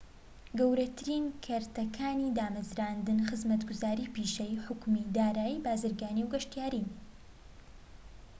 گەورەترین کەرتەکانی دامەزراندن خزمەتگوزاری پیشەیی، حکومی، دارایی، بازرگانی و گەشتیارین‎